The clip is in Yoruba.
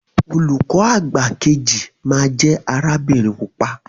Olùkọ àgbà keji ma jẹ arabinrin pupa.